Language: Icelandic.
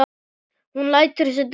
Hún lætur sig dreyma.